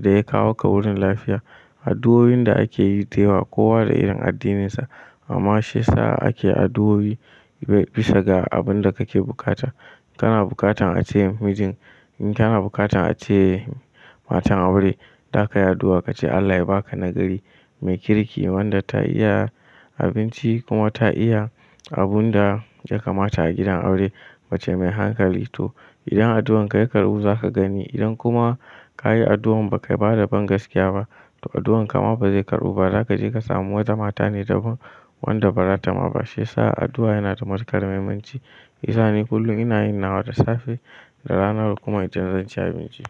da ya kawo ka wurin lafiya. Addu'oin da ake yi dayawa kowa da irin addininsa amma shi ya sa ake addu'o'i bisa ga abin da kake bukata. Kana bukatan a ce mijin, in kana bukatan a ce matan aure zaka yi addu'a ka ce Allah ya baka na gari mai kirki wanda ta iya abinci kuma ta iya abun da ya kamata a gidan aure mace mai hankali. To idan addu'anka ya karɓu zaka gani idan kuma ka yi addu'an ba kai bada bangaskiya ba to addu'anka ma ba zai karɓu ba. Zaka je ka samu wata mata ne daban wanda ba ratama ba. Shi ya sa addu'a yana da matuƙar muhimmanci. Shiyasa ni kullum ina yin nawa da safe, da rana kuma da dare idan zan ci abinci.